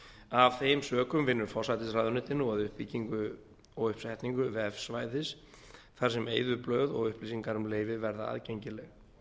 af þeim sökum vinnur forsætisráðuneytið nú að uppbyggingu og uppsetningu vefsvæðis þar sem eyðublöð og upplýsingar um leyfi verða aðgengileg